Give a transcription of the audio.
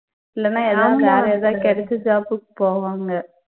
இல்லன்னா ஏதா வேற ஏதாவது கிடைச்ச job உக்கு போவாங்க